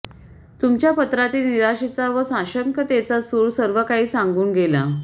तुमच्या पत्रातील निराशेचा व साशंकतेचा सूर सर्व काही सांगून गेला